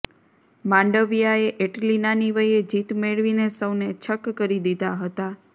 માંડવિયાએ એટલી નાની વયે જીત મેળવીને સૌને છક્ક કરી દીધા હતા